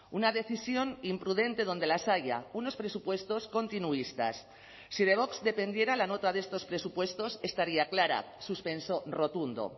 una decisión imprudente donde las haya unos presupuestos continuistas si de vox dependiera la nota de estos presupuestos estaría clara suspenso rotundo